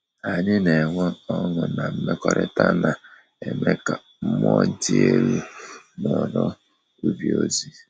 Anyị na enwe ọṅụ na mmekọrịta na eme ka mmụọ dị elu n’ọrụ ubi ozi.